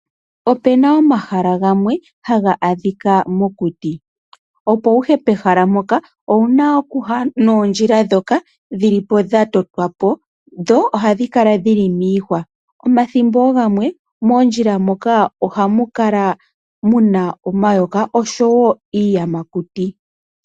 Opena omahala gamwe haga adhika mokuti. Opo wuye pehala mpoka owuna okuya noondjila dhoka dhili po dhatotwa po dho ohadhikala dhili miihwa, omathimbo gamwe moondjila moka ohamukala muna omayoka oshowo iiyamakuti.